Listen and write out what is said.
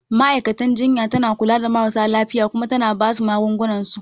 Ma'aikatan jinya tana kula da marasa lafiya Kuma tana basu magungunan su